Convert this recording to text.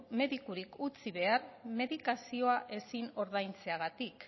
medikorik utzi behar medikazioa ezin ordaintzeagatik